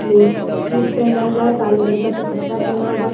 ने शूट पहना हुआ है। काले रंग का दुपट्टा पहना हुआ --